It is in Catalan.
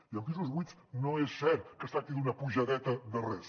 i amb pisos buits no és cert que es tracti d’una apujadeta de res